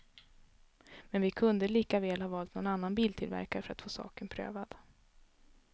Men vi kunde lika väl ha valt någon annan biltillverkare för att få saken prövad.